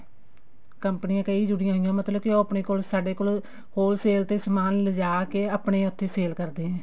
ਕੰਮਪਨੀਆਂ ਕਈ ਜੁੜੀਆਂ ਹੋਈਆਂ ਮਤਲਬ ਕੇ ਉਹ ਆਪਣੇ ਸਾਡੇ ਕੋਲ wholesale ਤੇ ਸਮਾਨ ਲਿਜਾ ਕੇ ਆਪਣੇ ਉੱਥੇ sale ਕਰਦੇ ਐ